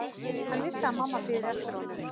Hann vissi að mamma biði eftir honum.